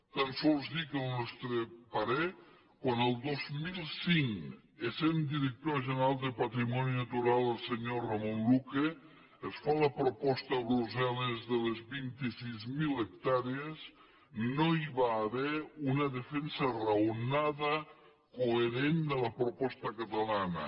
tan sols dir que al nostre parer quan el dos mil cinc essent director general de patrimoni natural el senyor ramon luque es fa la proposta a brussel·les de les vint sis mil hectàrees no hi va haver una defensa raonada coherent de la proposta catalana